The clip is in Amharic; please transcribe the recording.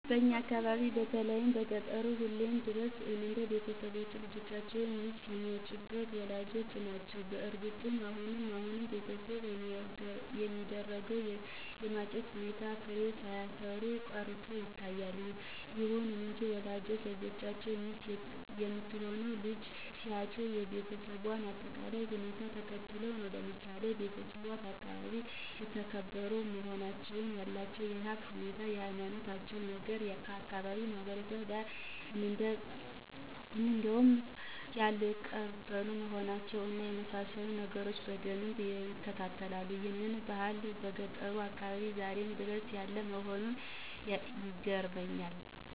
በእኛ አካባቢ በተለይ በገጠሩ አሁንም ድረስ የወንድ ቤተሰቦች ለልጆቻቸው ሚስት የሚያጩት ወላጆች ናቸው። በእርግጥ አሁን አሁን በቤተሰብ የሚደረገው የማጨት ሁኔታ ፍሬ ሳያፈራ ቀርቶ ይታያል። ይሁን እንጂ ወላጆች ለልጆቻቸው ሚስት የምትሆነውን ልጅ ሲያጩ የቤሰቧን አጠቃላይ ሁኔታ ተመልክተው ነው። ለምሳሌ ቤተሰቧ በአካባቢው የተከበሩ መሆናቸውን፣ ያላቸውን የሀብት ሁኔታ፣ የሀይማኖታቸውን ነገር፣ ከአካባቢው ማህበረሰብ ጋር ደም ያልተቃቡ መሆናቸውን እና የመሳሰሉትን ነገሮች በደንብ ይመለከታሉ። ይህ ባህል በገጠሩ አካባቢያችን ዛሬም ድረስ ያለ መሆኑ ይገርመኛል።